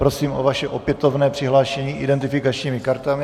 Prosím o vaše opětovné přihlášení identifikačními kartami.